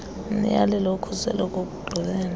umyalelo wokhuseleko wokugqibela